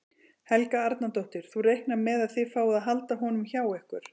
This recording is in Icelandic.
Helga Arnardóttir: Þú reiknar með að þið fáið að halda honum hjá ykkur?